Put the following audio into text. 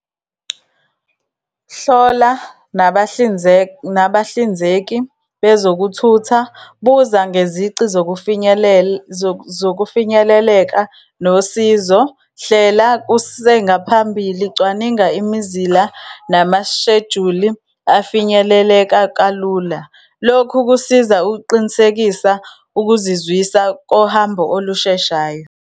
Hlola nabahlinzeki bezokuthutha, buza ngezici zokufinyeleleka nosizo, hlela kusengaphambili, cwaninga imizila, namashejuli afinyeleleka kalula. Lokhu kusiza ukuqinisekisa ukuzizwisa kohambo olusheshayo.